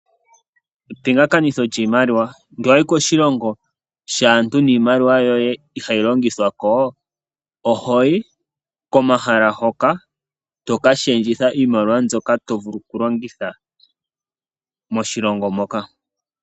Epingakanitho lyoshimaliwa, ngele wayi koshilongo shaantu niimaliwa yoye ihayi longithwako, ohoyi komahala ngoka tokalundulula iimaliwa mbyoka tovulu okulongitha moshilongo moka.